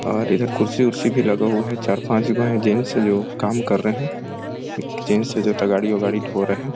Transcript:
और इधर कुर्ची उर्सी भी लगा हुआ है चार पांच जो जेंट्स जो काम कर रहे है एक जेंट्स है जो गाड़ी-वाड़ी धो तो रहे है।